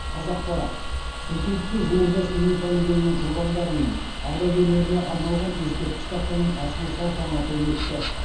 қазақпарат шымкентте жуырда семей полигонының құрбандары мен ардагерлеріне арналған ескерткіш тақтаның ашылу салтанаты өтті